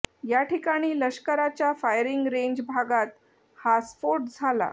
या ठिकाणी लष्कराच्या फायरिंग रेंज भागात हा स्फोट झाला